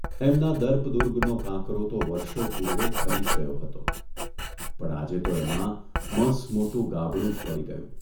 એમના દર્પ દુર્ગનો કાંકરો તો વર્ષો પૂર્વે ખરી જ ગયો હતો, પણ આજે તો એમાં મસમોટું ગાબડું જ પડી ગયું!